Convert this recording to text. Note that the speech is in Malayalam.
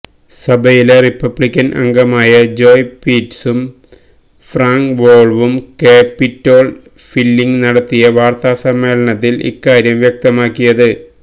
സഭയിലെ റിപ്പബ്ലിക്കന് അംഗങ്ങളായ ജോയ് പിറ്റ്സും ഫ്രാങ്ക് വോള്ഫും ക്യാപ്പിറ്റോള് ഹില്ലില് നടത്തിയ വാര്ത്താസമ്മേളനത്തില് ഇക്കാര്യം വ്യക്തമാക്കിയത്